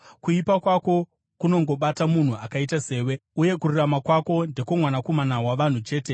Kuipa kwako kunongobata munhu akaita sewe, uye kururama kwako ndekwomwanakomana wavanhu chete.